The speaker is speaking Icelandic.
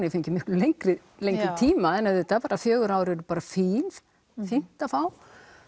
ég fengi miklu lengri lengri tíma en fjögur ár eru bara fín fínt að fá